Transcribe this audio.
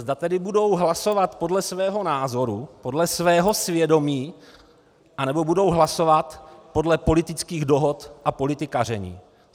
Zda tedy budou hlasovat podle svého názoru, podle svého svědomí, anebo budou hlasovat podle politických dohod a politikaření.